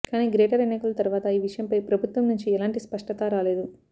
కానీ గ్రేటర్ ఎన్నికల తర్వాత ఈ విషయంపై ప్రభుత్వం నుంచి ఎలాంటి స్పష్టత రాలేదు